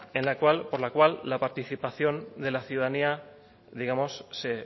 por la cual la participación de la ciudadanía digamos se